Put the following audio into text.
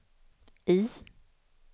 I